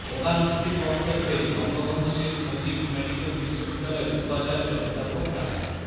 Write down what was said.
প্রধান অতিথির বক্তব্যে বঙ্গবন্ধু শেখ মুজিব মেডিক্যাল বিশ্ববিদ্যালয়ের উপাচার্য অধ্যাপক ডা